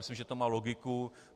Myslím, že to má logiku.